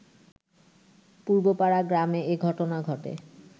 পূর্বপাড়া গ্রামে এ ঘটনা ঘটে